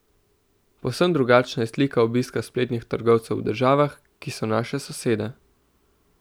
Povsem drugačna je slika obiska spletnih trgovcev v državah, ki so naše sosede.